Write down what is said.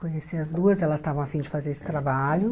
Conheci as duas, elas estavam afim de fazer esse trabalho.